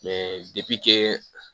Mɛ depi kɛ